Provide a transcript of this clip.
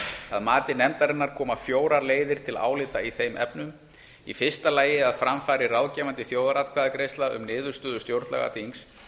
að mati nefndarinnar koma fjórar leiðir til álita í þeim efnum í fyrsta lagi að fram fari ráðgefandi þjóðaratkvæðagreiðsla um niðurstöður stjórnlagaþings